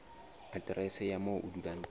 aterese ya moo o dulang